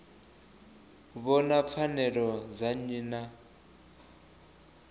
vhona pfanelo dza nnyi na